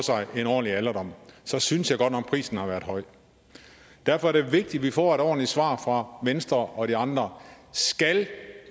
en ordentlig alderdom så synes jeg godt nok at prisen har været høj derfor er det vigtigt at vi får et ordentligt svar fra venstre og de andre skal